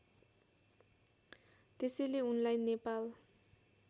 त्यसैले उनलाई नेपाल